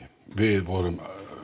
við vorum